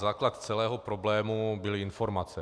Základ celého problému byly informace.